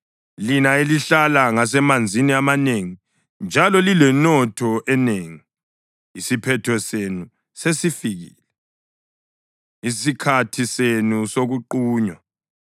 Lina elihlala ngasemanzini amanengi, njalo lilenotho enengi, isiphetho senu sesifikile, isikhathi senu sokuqunywa.